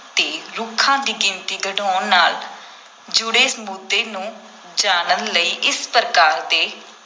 ‘ਤੇ ਰੁੱਖਾਂ ਦੀ ਗਿਣਤੀ ਘਟਾਉਣ ਨਾਲ ਜੁੜੇ ਮੁੱਦੇ ਨੂੰ ਜਾਣਨ ਲਈ ਇਸ ਪ੍ਰਕਾਰ ਦੇ